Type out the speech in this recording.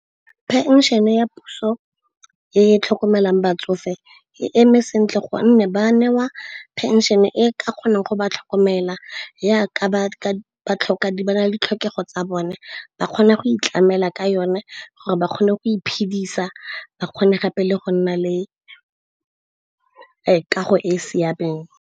Phenšene ya puso e tlhokomelang batsofe e eme sentle gonne ba newa phenšene e ka kgonang go ba tlhokomela. Jaaka ba na le ditlhokego tsa bone, ba kgona go itlamela ka yone gore, ba kgone go iphedisa ba kgone gape le go nna le kago e e siameng.